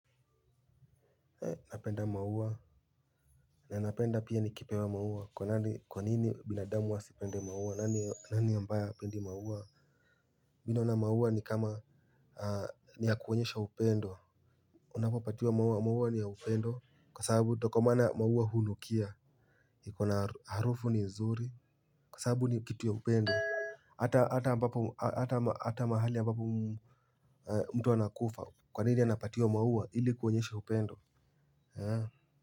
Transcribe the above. Napenda maua, na napenda pia ni kipewa maua, kwa nini binadamu wasipende maua, nani ambaye hapendi maua. Mi naona maua ni kama ni ya kuoenyesha upendo. Unapopatiwa maua, maua ni ya upendo kwa sababu tokomaana maua hunukia iko na harufu ni nzuri, kwa sababu ni kitu ya upendo hata mahali ambapo mtu anakufa, kwa nini anapatiwa maua ili kuonyesha upendo.